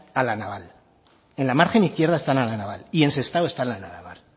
a la naval en la margen izquierda están a la naval y en sestao están a la naval